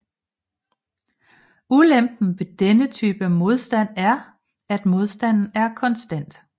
Ulempen ved denne type modstand er at modstanden er konstant